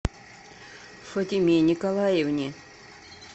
фатиме николаевне